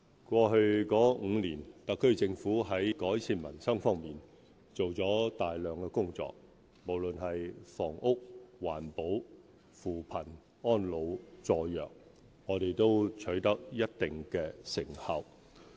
過去5年，特區政府在改善民生方面做了大量工作，無論是房屋、環保、扶貧、安老、助弱，我們都取得一定成效。